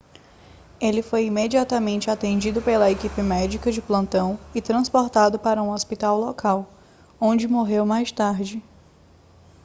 ele foi imediatamente atendido pela equipe médica de plantão e transportado para um hospital local onde morreu mais tarde